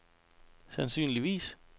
sandsynligvis